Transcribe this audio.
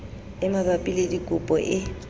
e mabapi le dikopo e